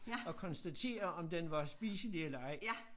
Og konstatere om den var spiselig eller ej